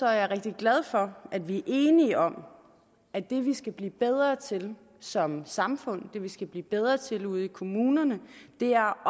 jeg rigtig glad for at vi enige om at det vi skal blive bedre til som samfund det vi skal blive bedre til ude i kommunerne er